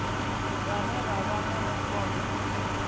vhane vha vha na mukovhe